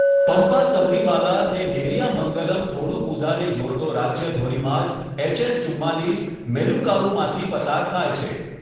પમ્પા સબરીમાલાને નેરિયામંગલમ થોડુપુઝાને જોડતો રાજ્ય ધોરીમાર્ગ એસએચ ચુમ્માલીસ મેલુકાવુમાંથી પસાર થાય છે.